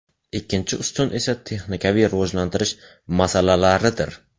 Ikkinchi ustun esa texnikaviy rivojlantirish masalalaridir.